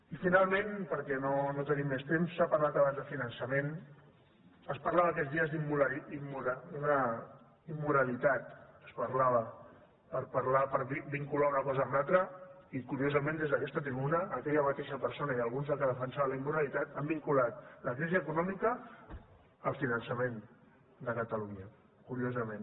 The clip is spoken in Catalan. i finalment perquè no tenim més temps s’ha parlat abans de finançament es parlava aquests dies d’una immoralitat es parlava per parlar per vincular una cosa amb l’altra i curiosament des d’aquesta tribuna aquella mateixa persona i alguns dels que defensaven la immoralitat han vinculat la crisi econòmica amb el finançament de catalunya curiosament